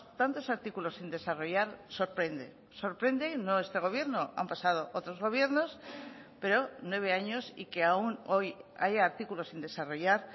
tantos artículos sin desarrollar sorprende sorprende no este gobierno han pasado otros gobiernos pero nueve años y que aún hoy haya artículos sin desarrollar